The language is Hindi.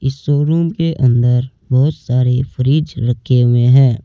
शोरूम के अंदर बहोत सारी फ्रिज रखे हुए हैं।